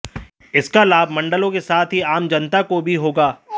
इसका लाभ मंडलों के साथ ही आम जनता को भी होगा